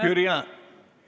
Jüri Jaanson.